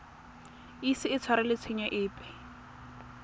ise a tshwarelwe tshenyo epe